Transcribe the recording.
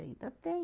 Ainda tem.